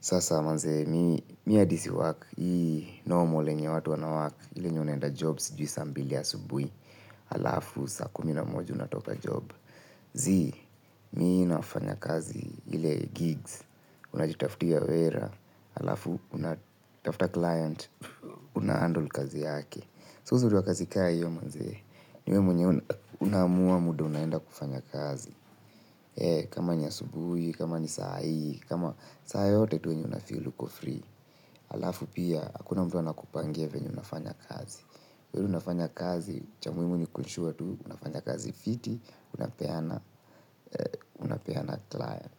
Sasa manzee, mimi hadi siwork, hii normal yenye watu wana work, ile yenye unaenda jobs sijui saa mbili asubuhi, halafu saa kumi na moja unatoka job. Zii, mimi nafanya kazi ile gigs, unajitaftia wera, halafu unatafta client, una handle kazi yake. So uzuri ya kazi kama hiyo manze ni wewe mwenyewe unaamua muda unaenda kufanya kazi. Kama ni asubuhi, kama ni saa hii, kama saa yote tu yenye unafeel uko free. Halafu pia, hakuna mtu anakupangia venye unafanya kazi. Kwa hiyo unafanya kazi, cha muhimu ni ku ensure tu, unafanya kazi fiti, unapeana client.